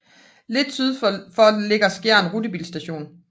Lidt syd for ligger Skjern Rutebilstation